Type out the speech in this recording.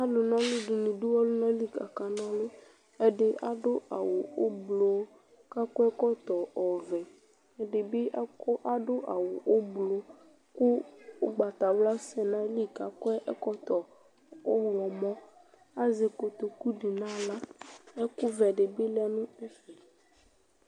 Alʋna ɔlʋ dɩnɩ dʋ ɔlʋna li kʋ akana ɔlʋ Ɛdɩ adʋ awʋ ʋblʋ kʋ akɔ ɛkɔtɔ ɔvɛ Ɛdɩ ak adʋ awʋ ʋblʋ kʋ ʋgbatawla asɛ nʋ ayili kʋ akɔ ɛkɔtɔ ɔɣlɔmɔ Azɛ kotoku dɩ nʋ aɣla Ɛkʋvɛ dɩ bɩ lɛ nʋ ɛfɛ